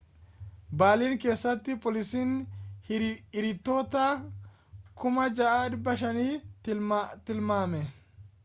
beerlin keessatti poolisiin hiriirtota 6,500 tilmaame